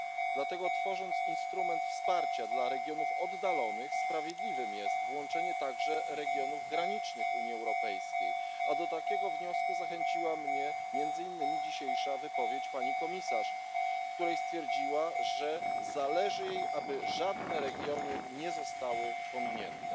Dlatego tworząc instrument wsparcia dla regionów oddalonych sprawiedliwe jest włączenie także regionów granicznych Unii Europejskiej, a do takiego wniosku zachęciła mnie między innymi dzisiejsza wypowiedź pani komisarz, w której stwierdziła ona, że zależy jej, aby żadne regiony nie zostały pominięte.